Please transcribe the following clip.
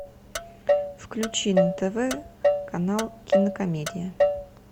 включи на тв канал кинокомедия